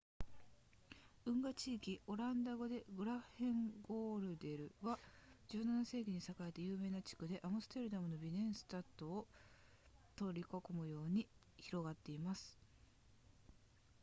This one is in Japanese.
運河地区オランダ語で grachtengordel は17世紀に栄えた有名な地区でアムステルダムのビネンスタトを取り囲むように広がっています